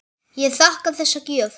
Ég þakka þessa gjöf.